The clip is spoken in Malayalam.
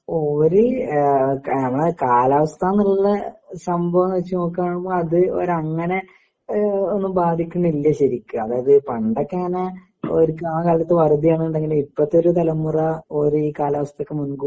ഓര് ആ നമ്മള് ആ കാലാവസ്ഥ എന്നുള്ള സംഭവം എന്ന് വച്ചു നോക്കുകയാണെങ്കിൽ അപ്പോ അത് അങ്ങനെ ഒന്നും ബാധിക്കുന്നില്ല ശരിക്കും അതായത് പണ്ടൊക്കെ ഇങ്ങനെ ഓര് ക്ക് ആ കാലത്ത് വരുതി ആണെന്നുണ്ടെങ്കില് ഇപ്പോഴത്തെ ഒരു തലമുറ ഓര് ഈ കാലാവസ്ഥ ഒക്കെ